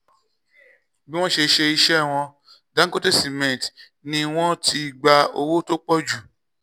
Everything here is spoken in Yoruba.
bí wọ́n ṣe ṣe iṣẹ́ wọn dangote cement ni wọ́n ti gba owó tó pọ̀ jù